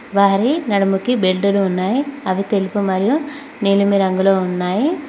వారి నలుగురికి బెల్టులు ఉన్నాయి అవి తెలుపు మరియు నీలిమ రంగులో ఉన్నాయి.